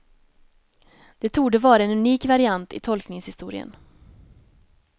Det torde vara en unik variant i tolkningshistorien.